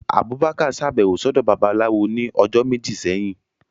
Abubakar ṣabẹwo sọdọ Babalawó ni ọjọ meji sẹhin.